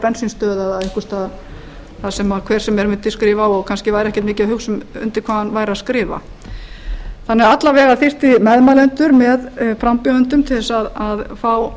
bensínstöð eða einhvers staðar þar sem hver sem er mundi skrifa og kannski væri ekkert mikið að hugsa um undir hvað hann væri að skrifa alla vega mundu meðmælendur með frambjóðendum til að fá